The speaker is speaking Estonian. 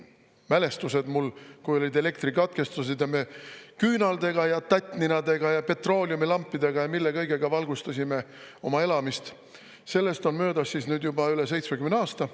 Mälestused mul, kui olid elektrikatkestused ja me küünaldega, tattninadega ja petrooleumilampidega ja mille kõigega valgustasime oma elamist – sellest on möödas juba üle 70 aasta.